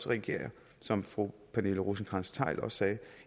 reagerer som fru pernille rosenkrantz theil også sagde